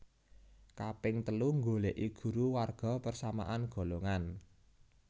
Kaping telu nggoleki guru warga persamaan golongan